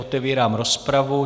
Otevírám rozpravu.